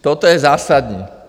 Toto je zásadní.